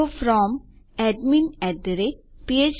તો From admin phpacademycom